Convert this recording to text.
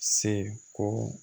Se ko